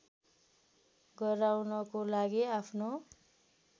गराउनको लागि आफ्नो